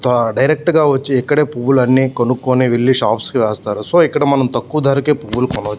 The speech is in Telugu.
ఆ డైరెక్ట్ గా వచ్చి ఇక్కడే పువ్వులన్నీ కొనుక్కుని వెళ్ళి షాప్స్ కి వేస్తారు. సో ఇక్కడ మనం పువ్వులు తక్కువ ధరకి కొనచ్చు.